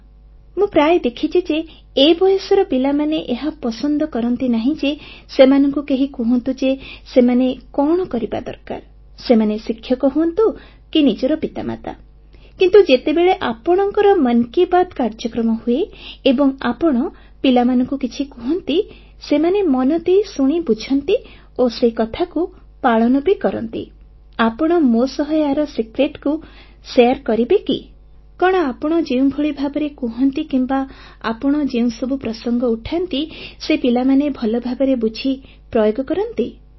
ମୁଁ ଏହା ପ୍ରାୟ ଦେଖିଛି ଯେ ଏ ବୟସର ପିଲାମାନେ ଏହା ପସନ୍ଦ କରନ୍ତି ନାହିଁ ଯେ ସେମାନଙ୍କୁ କେହି କହନ୍ତୁ ଯେ ସେମାନଙ୍କୁ କଣ କରିବା ଦରକାର ସେମାନେ ଶିକ୍ଷକ ହୁଅନ୍ତୁ କି ନିଜର ପିତାମାତା କିନ୍ତୁ ଯେତେବେଳେ ଆପଣଙ୍କର ମନ କି ବାତ୍ କାର୍ଯ୍ୟକ୍ରମ ହୁଏ ଏବଂ ଆପଣ ପିଲାମାନଙ୍କୁ କିଛି କହନ୍ତି ସେମାନେ ମନ ଦେଇ ଶୁଣି ବୁଝନ୍ତି ଓ ସେକଥାକୁ ପାଳନ ବି କରନ୍ତି ଆପଣ ମୋ ସହ ଏହାର ରହସ୍ୟ ସମସ୍ତଙ୍କୁ ବାଣ୍ଟି ପାରିବେ କି ଆପଣ ଯେଉଁଭଳି ଭାବରେ କହନ୍ତି କିମ୍ବା ଆପଣ ଯେଉଁସବୁ ପ୍ରସଙ୍ଗ ସବୁ ଉଠାନ୍ତି ସେ ପିଲାମାନେ ଭଲଭାବରେ ବୁଝି ପ୍ରୟୋଗ କରନ୍ତି ଧନ୍ୟବାଦ